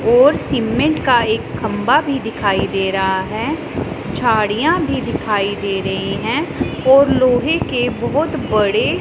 और सीमेंट का एक खंबा भी दिखाई दे रहा है झाड़ियां भी दिखाई दे रही हैं और लोहे के बहोत बड़े--